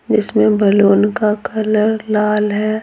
जिसमें बलून का कलर लाल है।